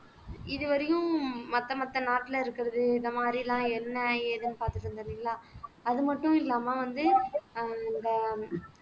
இதுவரையும் மத்த மத்த நாட்டுல இருக்குறது இந்த மாதிரிலாம் என்ன ஏதுன்னு பாத்துட்டு இருந்தோம் இல்லைங்களா அது மட்டும் இல்லாம வந்து அந்த